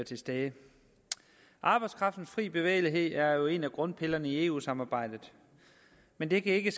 til stede arbejdskraftens fri bevægelighed er jo en af grundpillerne i eu samarbejdet men det kan ikke